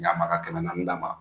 Ɲɛ a ma ka kɛmɛ naani d'a ma.